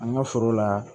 An ka foro la